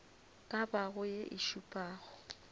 ka bago ye e šupago